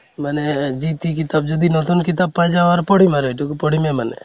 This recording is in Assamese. মানে যি তি কিতাপ যদি নতুন কিতাপ পাই যাওঁ আৰু পঢ়িম আৰু সেইটোক পঢ়িমে মানে